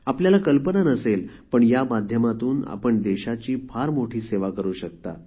आपल्याला कल्पना नसेल पण या माध्यमातून आपण देशाची फार मोठी सेवा करू शकता